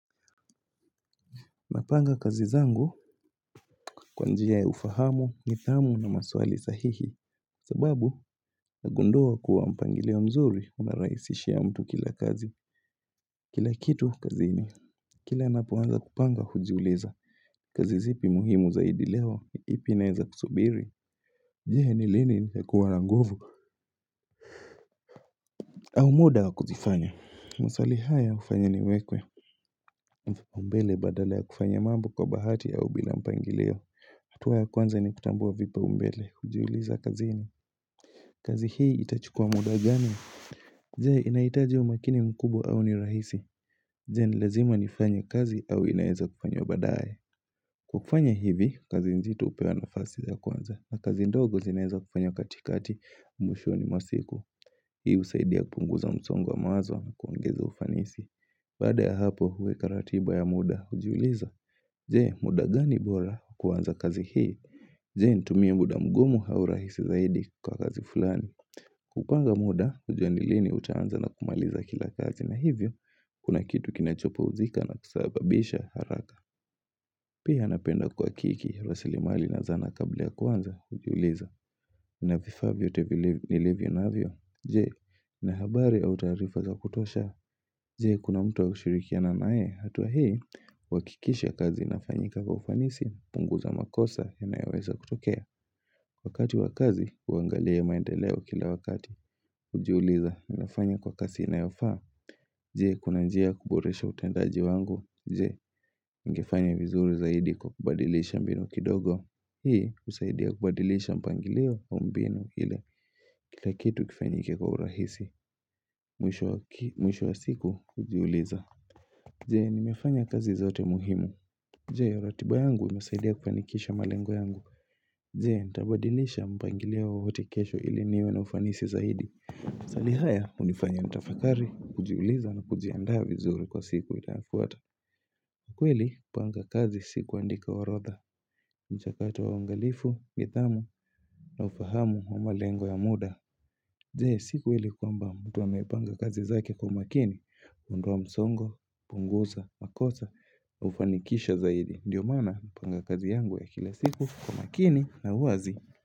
Napanga kazi zangu kwa njia ya ufahamu, nidhamu na maswali sahihi. Sababu, nagundua kuwa mpangilio mzuri unarahisishia mtu kila kazi. Kila kitu kazini. Kila napoanza kupanga hujiuliza. Kazi zipi muhimu zaidi leo, ipi inaeza kusubiri. Je ni lini nitakuwa na nguvu. Au muda wa kuzifanya. Maswali haya hufanya niwekwe. Mbele badala ya kufanya mambo kwa bahati au bila mpangilio. Hatua ya kwanza ni kutambua vipaumbele, hujiuliza kazini kazi hii itachukua muda gani? Je, inaitaji umakini mkubwa au ni rahisi Je, ni lazima nifanye kazi au inaeza kufanywa baadaye Kwa kufanya hivi, kazi nzito hupewa nafasi ya kwanza na kazi ndogo zinaeza kufanywa katikati, mwishoni mwa siku Hii husaidia kupunguza msongo wa mawazo na kuongeza ufanisi Baada ya hapo, huweka ratiba ya muda, hujiuliza Je, muda gani bora, kuanza kazi hii? Je, nitumie muda mgumu au rahisi zaidi kwa kazi fulani. Kupanga muda, kujua ni lini utaanza na kumaliza kila kazi na hivyo, kuna kitu kinachopumzika na kusababisha haraka. Pia napenda kuhakiki, rasilimali na zana kabla ya kuanza, hujiuliza. Na vifaa vyote vilivyo navyo Je, na habari au taarifa za kutosha Je, kuna mtu wa kushirikiana nae hatua hii, huakikisha kazi inafanyika kwa ufanisi punguza makosa yanayoweza kutokea Wakati wa kazi, huangalia maendeleo kila wakati Hujiuliza, nimefanya kwa kasi inayofaa Je, kuna njia ya kuboresha utendaji wangu Je, ningefanya vizuri zaidi kwa kubadilisha mbinu kidogo Hii, husaidia kubadilisha mpangilio au mbinu ile Kila kitu kifanyike kwa urahisi Mwisho wa siku kujiuliza Je, nimefanya kazi zote muhimu Je, ratiba yangu imesaidia kufanikisha malengo yangu Je, nitabadilisha mpangiliao wowote kesho ili niwe na ufanisi zaidi Swali haya, hunifanya nitafakari, kujiuliza na kujiandaa vizuri kwa siku inayofuata kweli, kupanga kazi si kuandika orodha mchakato wa uangalifu, nidhamu, na ufahamu wa malengo ya muda Je si kweli kwamba mtu amepanga kazi zake kwa makini huondoa msongo, pungusa, makosa, hufanikisha zaidi Ndio maana napanga kazi yangu ya kila siku kwa makini na uwazi.